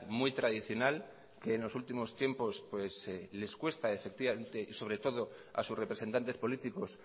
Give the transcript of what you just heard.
muy tradicional que en los últimos tiempos les cuesta y sobre todo a sus representantes políticos